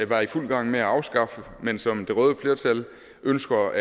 var i fuld gang med at afskaffe men som det røde flertal ønsker